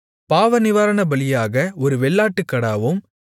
பாவநிவாரணபலியாக ஒரு வெள்ளாட்டுக்கடாவும்